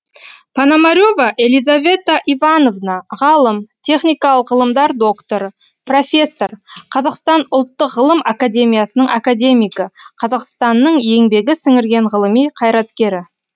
пономарева елизавета ивановна ғалым техникалық ғылымдар докторы профессор қазақстан ұлттық ғылым академиясының академигі қазақстанның еңбегі сіңірген ғылыми қайраткері